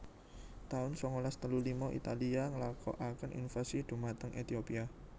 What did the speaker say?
taun sangalas telu lima Italia nglakokaken invasi dhumateng Ethiopia